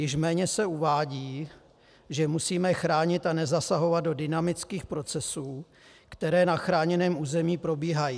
Již méně se uvádí, že musíme chránit a nezasahovat do dynamických procesů, které na chráněném území probíhají.